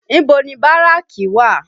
Ibo ni Báràkì wà?